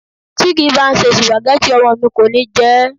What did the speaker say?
Tí kì ń bá ṣe Sùpàgẹ́tì, ọmọ mi kò ní jẹ ẹ́.